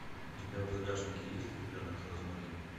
у тебя в загашнике есть ребенок розмари